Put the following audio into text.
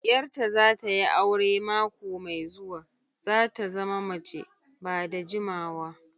Yar ta zata yi aure mako mai zuwa, zata zama mace ba da jimawa.